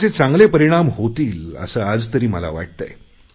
त्याचे चांगले परिणाम होतील असे आज तरी मला वाटतेय